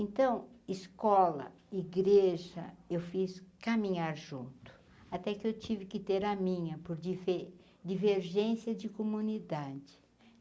Então, escola, igreja, eu fiz caminhar junto, até que eu tive que ter a minha, por dife divergência de comunidade.